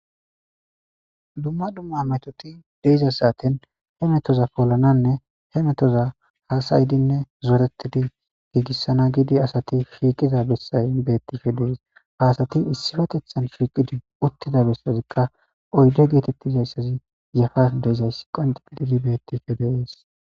Dumma dumma metoti diza saateni he metoza polananne he metoza hasa'idinne zoretidi giigisana gidi asati shiiqiza besayi beetishe Des, ha asati issipetetan shiiqidi utida besazika oyde getetizaysazi yafaran de'izaysi qonce gidid beetidi de'esi.